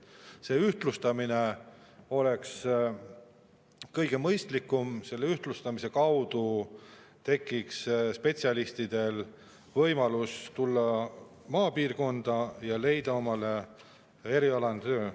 See ühtlustamine oleks kõige mõistlikum, selle kaudu tekiks spetsialistidel võimalus tulla maapiirkonda ja leida omale erialane töö.